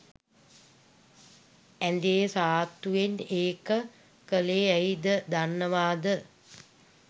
ඇ‍ඳේ සාත්තුවෙන් ඒක කලේ ඇයි ද දන්නවද